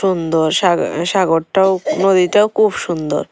সুন্দর সাগ সাগরটাও নদীটাও খুব সুন্দর।